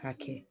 K'a kɛ